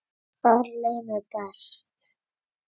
Þar leið mér best.